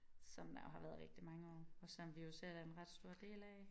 Som der jo har været rigtig mange år og som vi jo selv er en ret stor del af